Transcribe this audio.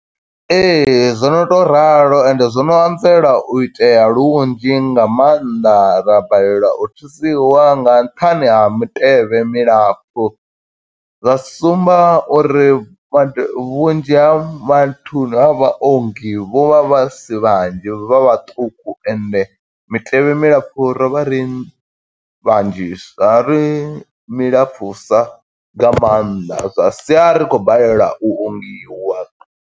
Ee, zwo no tou ralo ende zwono anzela u itea lunzhi nga maanḓa ra balelwa u thusiwa nga nṱhani ha mitevhe milapfu. Zwa sumba uri vhunzhi ha vhathuni ha vhaongi vho vha vha si vhanzhi vha vhaṱuku ende mitevhe milapfu ro vha ri vhanzhisa, ra ri milapfusa nga maanḓa zwa sia ri khou balelwa u ongiwa.